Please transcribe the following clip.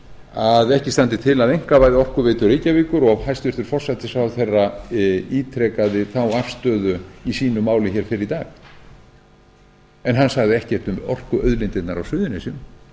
að ekki standi til að einkavæða orkuveitu reykjavíkur og hæstvirtur forsætisráðherra ítrekaði þá afstöðu í sínu máli hér fyrr í dag en hann sagði ekkert um orkuauðlindirnar á suðurnesjum